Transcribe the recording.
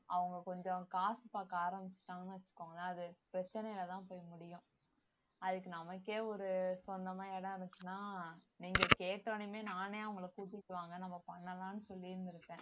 அவங்க கொஞ்சம் காசு பாக்க ஆரம்பிச்சுட்டாங்கன்னு வச்சுக்கோங்களேன் அது பிரச்சனைல தான் போய் முடியும் அதுக்கு நமக்கே ஒரு சொந்தமா இடம் இருந்துச்சுன்னா நீங்க கேட்ட உடனேயுமே நானே அவங்கள கூட்டிட்டு வாங்க நம்ம பண்ணலாம்னு சொல்லி இருந்திருப்பேன்